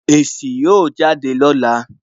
Èsì ó jáde lọ́la